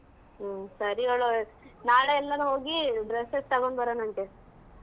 ಹ್ಮ್ ಸರಿ ನಾಳೆ ಎಲ್ಲರ ಹೋಗಿ dresses ತಗೊಂಡ್ ಬರೋಣ ಅಂತೆ.